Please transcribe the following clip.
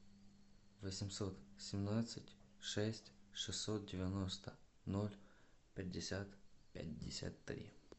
восемьсот семнадцать шесть шестьсот девяносто ноль пятьдесят пятьдесят три